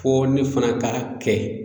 Fo ne fana ka kɛ